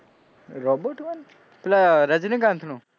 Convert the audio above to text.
robot one પેલા રજનીકાંતનું,